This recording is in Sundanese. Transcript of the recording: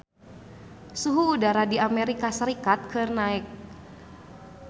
Suhu udara di Amerika Serikat keur naek